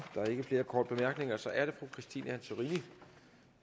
der er ikke flere korte bemærkninger så er det fru christine antorini